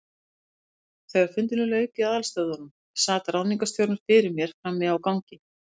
Þegar fundinum lauk í aðalstöðvunum, sat ráðningarstjóri fyrir mér frammi á gangi.